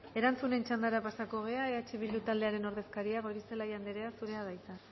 erantzunen txandara pasako gara eh bildu taldearen ordezkaria goirizelaia andrea zurea da hitza